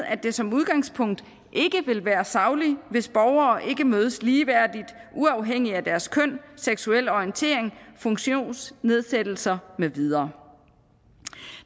at det som udgangspunkt ikke vil være sagligt hvis borgere ikke mødes ligeværdigt uafhængig af deres køn seksuelle orientering funktionsnedsættelser med videre